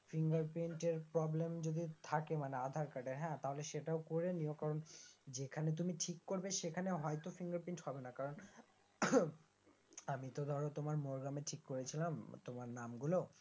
fingerprint এর problem যদি মানে থাকে আধার কার্ডে হ্যাঁ তাহলে সেটাও করণীয় কারণ যেখানে তুমি ঠিক করবে সেখানে হয়তো fingerprint হবেনা কারণ উম আমিতো ধরো তোমার মোরগ্রামে ঠিক করেছিলাম তোমার নামগুলো